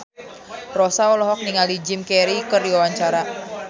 Rossa olohok ningali Jim Carey keur diwawancara